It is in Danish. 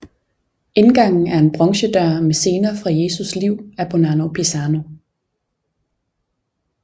Indgangen er en bronzedør med scener fra Jesus liv af Bonanno Pisano